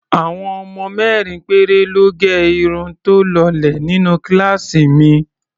Àwọn ọmọ mẹ́rin péré lọ́ gẹ irun tó lọlẹ̀ nínú kíláàsì mi.